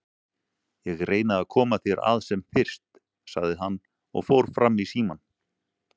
Ég reyni að koma þér að sem fyrst, sagði hann og fór fram í símann.